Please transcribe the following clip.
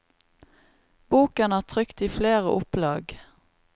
Boken er trykt i flere opplag.